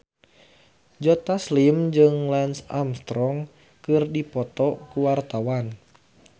Joe Taslim jeung Lance Armstrong keur dipoto ku wartawan